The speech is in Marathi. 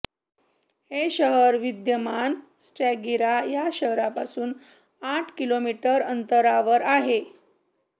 हे शहर विद्यमान स्टॅगिरा या शहरापासून आठ किलोमीटर अंतरावर आहे